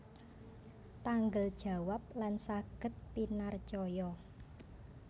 Tanggel jawab lan saged pinarcaya